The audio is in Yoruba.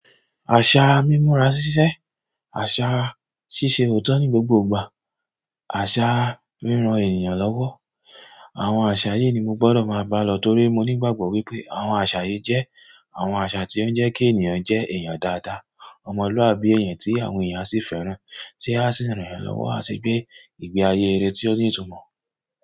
Àṣà mímura ṣíṣẹ́, àṣà ṣíṣe òótọ́ ní gbogbo ìgbà, àṣà ríran ènìyàn lọ́wọ́ àwọn àṣà yìí ni mo gbọ́dọ̀ máa bá lọ torí mo ní ìgbàgbọ́ wípé àwọn àṣà yìí jẹ́ àwọn àṣà tí ó ń jẹ́ kí ènìyàn jẹ́ èèyàn dáadáa, ọmọlúàbí èyàn tí àwọn èèyàn sì fẹ́ràn, tí a sì ń ràn yán lọ́wọ́, àti gbé ìgbé ayé rere tí ó ní ìtùnmo.